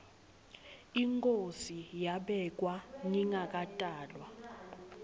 inkhosi yabekwa ngingakatalwa